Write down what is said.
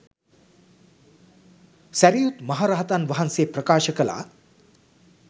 සැරියුත් මහ රහතන් වහන්සේ ප්‍රකාශ කළා.